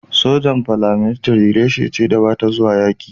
sojan "Paramilitary" reshe ce da ba ta zuwa yaƙi.